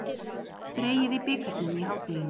Dregið í bikarnum í hádeginu